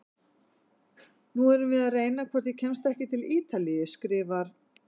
Nú erum við að reyna hvort ég kemst ekki til Ítalíu, skrifar